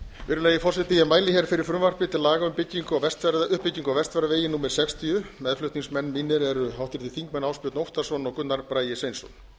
virðulegi forseti ég mæli hér fyrir frumvarpi til laga um uppbyggingu á vestfjarðavegi númer sextíu meðflutningsmenn mínir eru háttvirtir þingmenn ásbjörn óttarsson og gunnar bragi sveinsson þannig